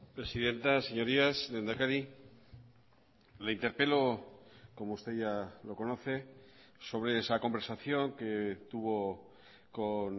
presidenta señorías lehendakari le interpelo como usted ya lo conoce sobre esa conversación que tuvo con